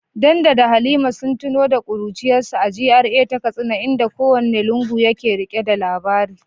Dan da Halima sun tuno da kuruciyarsu a GRA ta Katsina, inda kowane lungu yake rike da labari.